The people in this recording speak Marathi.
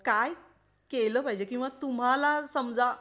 किंवा तुम्हाला समजा